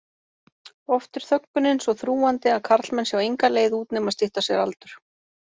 Oft er þöggunin svo þrúgandi að karlmenn sjá enga leið út nema stytta sér aldur.